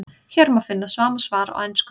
Hér má einnig finna sama svar á ensku.